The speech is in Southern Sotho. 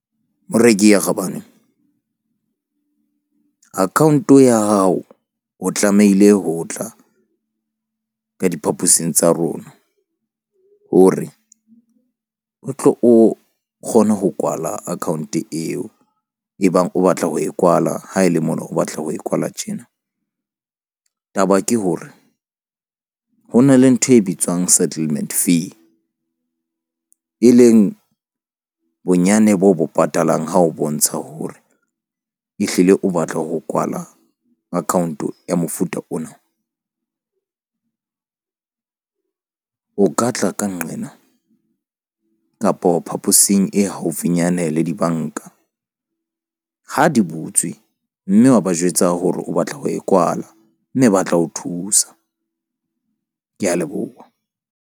Moreki ya kgabane account ya hao o tlamehile ho tla ka diphaposing tsa rona hore o tlo o kgone ho kwala account eo. E bang o batla ho e kwala ha e le mona o batla ho e kwala tjena. Taba ke hore ho na le ntho e bitswang settlement fee, e leng bonyane boo bo patalang ha o bontsha hore ehlile o batla ho kwala account ya mofuta ona o ka tla kang nqena kapo phaposing e haufinyane le di-bank-a. Ha di butswe mme wa ba jwetsa hore o batla ho e kwala mme ba tla ho thusa. Ke a leboha.